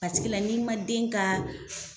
Pasikila n'i ma den ka